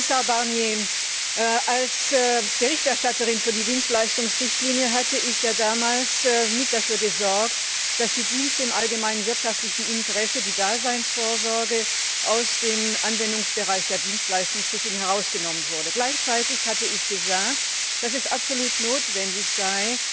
Herr Kommissar Barnier, als Berichterstatterin für die Dienstleistungsrichtlinie hatte ich ja damals mit dafür gesorgt, dass die Dienste im allgemeinen wirtschaftlichen Interesse und die Daseinsvorsorge aus dem Anwendungsbereich der Dienstleistungsrichtlinie herausgenommen wurden. Gleichzeitig hatte ich gesagt, dass es absolut notwendig sei,